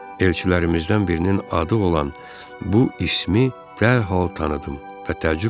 Elçilərimizdən birinin adı olan bu ismi dərhal tanıdım və təəccüblə dedim.